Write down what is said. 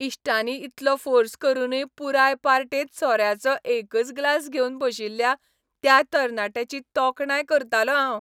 इश्टांनी इतलो फोर्स करूनय पुराय पार्टेंत सोऱ्याचो एकच ग्लास घेवन बशिल्ल्या त्या तरणाट्याची तोखणाय करतालों हांव.